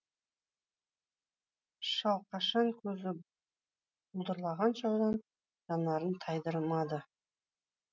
шал қашан көзі бұлдырағанша одан жанарын тайдырмады